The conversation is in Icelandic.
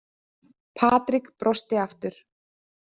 Patrik brosti aftur.